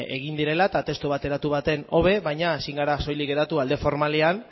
egin direla eta testu bateratu baten hobe baina ezin gara soilik geratu alde formalean